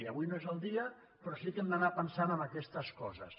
avui no és el dia però sí que hem d’anar pensant en aquestes coses